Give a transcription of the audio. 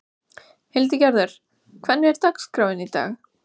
Hildigerður, hvernig er dagskráin í dag?